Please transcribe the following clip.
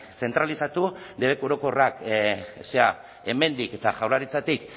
zentralizatu debeku orokorrak hemendik eta jaurlaritzatik